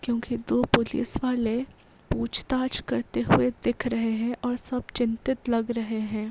क्योंकि दो पुलिस वाले पूछताछ करते हुए दिख रहे हैं और सब चिंतित लग रहे हैं।